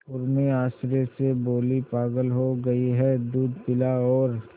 उर्मी आश्चर्य से बोली पागल हो गई है दूध पिला और